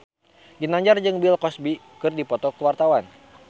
Ginanjar jeung Bill Cosby keur dipoto ku wartawan